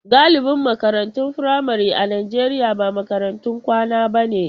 Galibin makarantun firamare a Najeriya ba makarantun kwana bane.